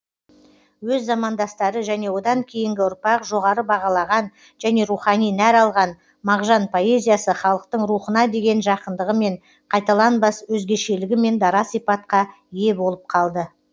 өз замандастары және одан кейінгі ұрпақ жоғары бағалаған және рухани нәр алған мағжан поэзиясы халықтың рухына деген жақындығымен қайталанбас өзгешелігімен дара сипатқа ие болып қалды